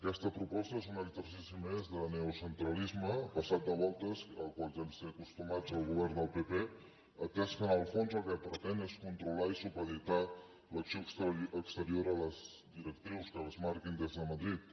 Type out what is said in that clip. aquesta proposta és un exercici més de neocentralisme passat de voltes al qual ja ens té acostumats el govern del pp atès que en el fons el que pretén és controlar i supeditar l’acció exterior a les directrius que es marquin des de madrid